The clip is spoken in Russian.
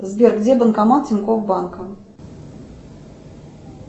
сбер где банкомат тинькофф банка